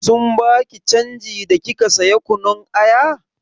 Sun baki canji da kika saya kunun aya?